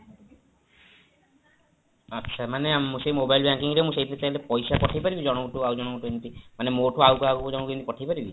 ଆଚ୍ଛା ମାନେ ଆମ ସେଇ mobile banking ରେ ମୁଁ ପଇସା ପଠେଇପାରିବି ଜଣଙ୍କଠୁ ଆଉ ଜଣଙ୍କୁଠୁ ଏମିତି ମାନେ ମୋଠୁ ଆଉ କାହାକୁ ଏମିତି ପଠେଇପାରିବି?